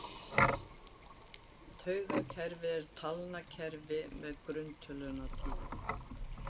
Tugakerfið er talnakerfi með grunntöluna tíu.